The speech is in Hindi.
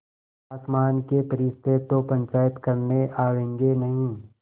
आसमान के फरिश्ते तो पंचायत करने आवेंगे नहीं